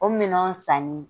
O minɛnw sanni